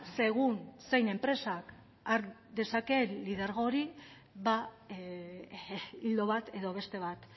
segun zein enpresak har dezaken lidergo hori ba ildo bat edo beste bat